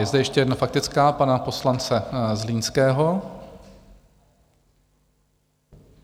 Je zde ještě jedna faktická pana poslance Zlínského.